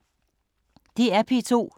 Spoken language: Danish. DR P2